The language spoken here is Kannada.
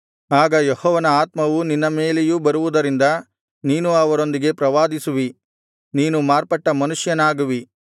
ಆಗ ಯೆಹೋವನ ಆತ್ಮವು ನಿನ್ನ ಮೇಲೆಯೂ ಬರುವುದರಿಂದ ನೀನೂ ಅವರೊಂದಿಗೆ ಪ್ರವಾದಿಸುವಿ ನೀನು ಮಾರ್ಪಟ್ಟ ಮನುಷ್ಯನಾಗುವಿ